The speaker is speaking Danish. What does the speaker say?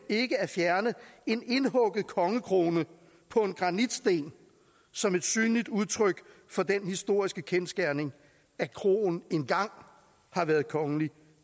ikke at fjerne en indhugget kongekrone på en granitsten som et synligt udtryk for den historiske kendsgerning at kroen engang har været kongeligt